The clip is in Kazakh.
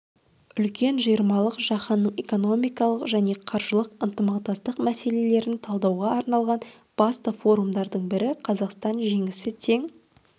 үлкен жиырмалық жаһанның экономикалық және қаржылық ынтымақтастық мәселелерін талдауға арналған басты форумдардың бірі қазақстан жеңісі тең